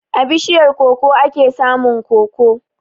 A bishiyar koko ake samun koko.